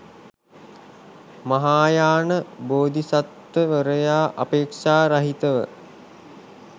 මහායාන බෝධිසත්වවරයා අපේක්‍ෂා රහිතව